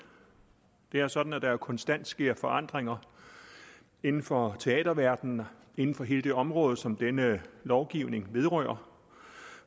det er sådan at der konstant sker forandringer inden for teaterverdenen inden for hele det område som denne lovgivning vedrører